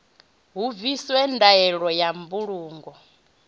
hu bviswe ndaela ya mbulungo